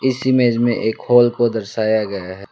इस इमेज में एक हॉल को दर्शाया गया हैं।